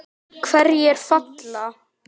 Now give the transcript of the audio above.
Hverjir falla?